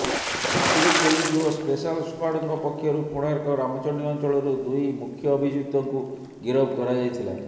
Pipili police ଓ special ସ୍କ୍ୱାଡ଼ଙ୍କ ପକ୍ଷରୁ କୋଣାର୍କ ରାମଚଣ୍ଡି ଅଞ୍ଚଳରୁ ଦୁଇ ମୁଖ୍ୟ ଅଭିଯୁକ୍ତଙ୍କୁ ଗିରଫ କରାଯାଇଥିଲା